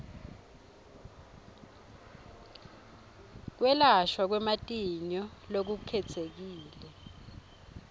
kwelashwa kwematinyo lokukhetsekile